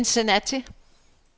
Cincinnati